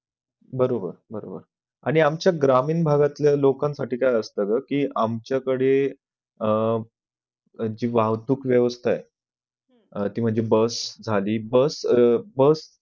बरोबर बरोबर आणि आमच्या ग्रामीण भागातल्या लोकंसाठी काय असत ग, कि आमच्याकडे अह जी वाहतूक वेवस्था आहे ती म्हणजे bus झाली bus bus